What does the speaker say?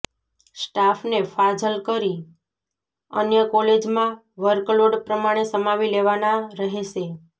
સ્ટાફને ફાજલ કરી અન્ય કોલેજમાં વર્કલોડ પ્રમાણે સમાવી લેવાના રહેશે